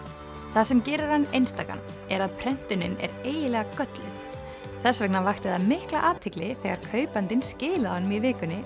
það sem gerir hann einstakan er að prentunin er eiginlega gölluð þess vegna vakti það mikla athygli þegar kaupandinn skilaði honum í vikunni